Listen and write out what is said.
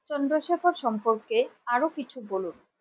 চন্দ্রশেখর সম্পর্কে আরো কিছু বলুন?